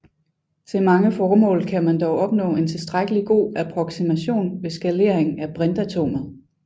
Til mange formål kan man dog opnå en tilstrækkelig god approksimation ved skalering af brintatomet